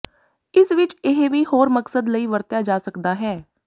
ਇਸ ਵਿਚ ਇਹ ਵੀ ਹੋਰ ਮਕਸਦ ਲਈ ਵਰਤਿਆ ਜਾ ਸਕਦਾ ਹੈ